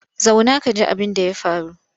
Zauna ka ji abinda ya faru!